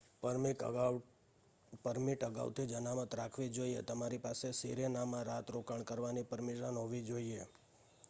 permit અગાઉથી જ અનામત રાખવી જોઈએ તમારી પાસે સિરેનામાં રાત રોકાણ કરવાની પરમિશન હોવી જોઈએ